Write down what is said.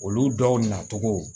Olu dɔw nacogo